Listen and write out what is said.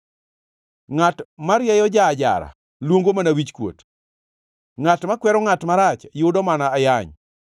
Ngʼat marieyo ja-ajara luongo mana wichkuot, ngʼat makwero ngʼat marach yudo mana ayany.